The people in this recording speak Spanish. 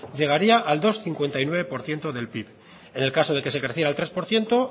llegaría al dos coma cincuenta y nueve por ciento del pib en el caso de que se creciera al tres por ciento